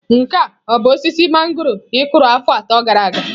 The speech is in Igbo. Nke a ọ bụ osisi mangọrọ ị kụrụ afọ atọ gara aga?